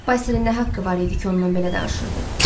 Basilin nə haqqı var idi ki, ondan belə danışırdı?